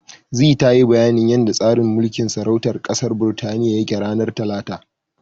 Zee tayi bayanin yanda tsarin mulkin sarautar ƙasar Birtaniya yake, ranar Talata.